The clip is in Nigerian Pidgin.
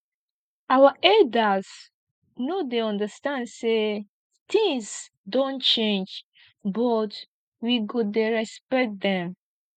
our elders no dey understand sey tins don change but we go dey respect dem